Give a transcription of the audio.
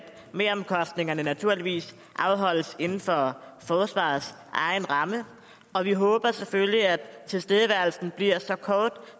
meromkostningerne naturligvis afholdes inden for forsvarets egen ramme og vi håber selvfølgelig at tilstedeværelsen bliver så kort